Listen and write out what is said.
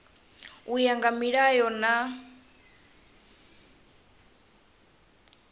u ya nga milayo na